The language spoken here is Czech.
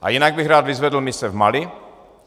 A jinak bych rád vyzvedl mise v Mali.